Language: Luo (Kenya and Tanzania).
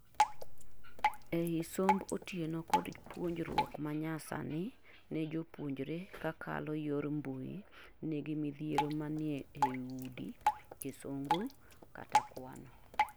Ei somb otieno kod puonjruok manyamasani ne jopuonjreka kalo yor mbui nigi midhiro mane ei Urdu, Kizungu kata Kwano?